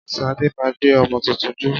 Ṣadé máa gbé ọmọ tuntun jó